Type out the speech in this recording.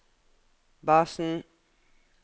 basen